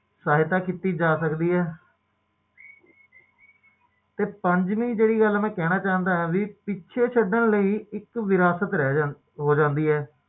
ਇੱਕ ਵਾਰ ਜਦੋ